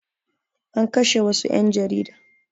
An kashe wassu ƴan jarida